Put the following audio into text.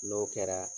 N'o kɛra